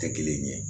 Tɛ kelen ye